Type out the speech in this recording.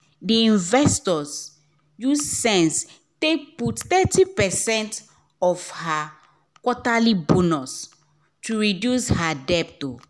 d investor use sense take put thirty percent of her quarterly bonus to reduce her debt